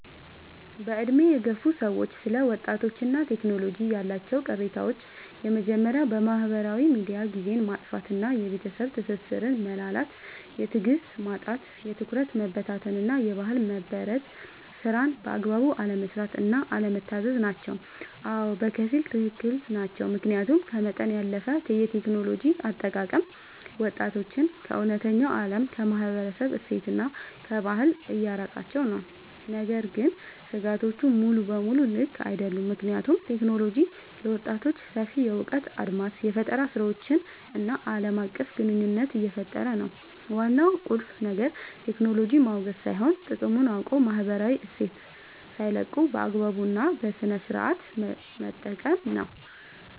በዕድሜ የገፉ ሰዎች ስለ ወጣቶችና ቴክኖሎጂ ያላቸው ቅሬታዎች የመጀመርያው በማህበራዊ ሚዲያ ጊዜን ማጥፋት እና የቤተሰብ ትስስር መላላት። የትዕግስት ማጣት፣ የትኩረት መበታተን እና የባህል መበረዝ። ስራን በአግባቡ አለመስራት እና አለመታዘዝ ናቸው። አዎ፣ በከፊል ትክክል ናቸው። ምክንያቱም ከመጠን ያለፈ የቴክኖሎጂ አጠቃቀም ወጣቶችን ከእውነተኛው ዓለም፣ ከማህበረሰብ እሴትና ከባህል እያራቃቸው ነው። ነገር ግን ስጋቶቹ ሙሉ በሙሉ ልክ አይደሉም፤ ምክንያቱም ቴክኖሎጂ ለወጣቶች ሰፊ የእውቀት አድማስን፣ የፈጠራ ስራዎችን እና ዓለም አቀፍ ግንኙነት እየፈጠረ ነው። ዋናው ቁልፍ ነገር ቴክኖሎጂን ማውገዝ ሳይሆን፣ ጥቅሙን አውቆ ማህበራዊ እሴትን ሳይለቁ በአግባቡ እና በስነሥርዓት መጠቀም ነው።